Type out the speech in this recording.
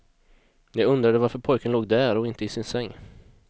Jag undrade varför pojken låg där och inte i sin säng.